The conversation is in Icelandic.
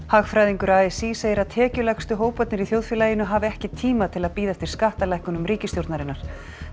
hagfræðingur a s í segir að tekjulægstu hóparnir í þjóðfélaginu hafi ekki tíma til að bíða eftir skattalækkunum ríkisstjórnarinnar